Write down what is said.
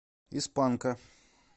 из панка